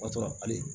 O y'a sɔrɔ hali